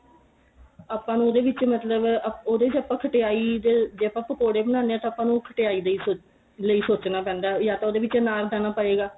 ਆਪਾਂ ਨੂੰ ਉਹਦੇ ਵਿੱਚ ਮਤਲਬ ਉਦੇ ਚ ਆਪਾਂ ਖਟਿਆਈ ਜੇ ਆਪਾਂ ਪਕੋੜੇ ਬਣਾਨੇ ਆ ਤਾਂ ਆਪਾਂ ਨੂੰ ਖਟਿਆਈ ਦਾ ਈ ਸੋਚ ਲਈ ਸੋਚਣਾ ਪੈਂਦਾ ਯਾ ਤਾਂ ਉਦੇ ਵਿੱਚ ਅਨਾਰਦਾਨਾ ਪਏਗਾ